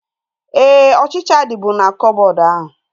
Éè, ọchịchịa dịbu na koboodu ahu